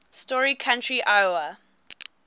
story county iowa